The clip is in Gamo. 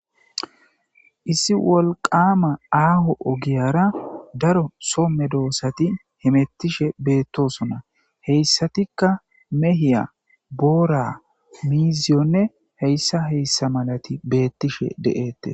issi wolqama aaho ogiyara daro somme doossati himettishe beettosona. heyssatikka mehiya ,boora ,miiziyonne heyssa heyssa malati beettishe de'eettes.